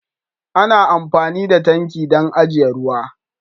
Ana amfani da tanki dan ajiyan ruwa.